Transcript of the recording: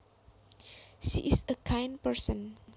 She is a kind person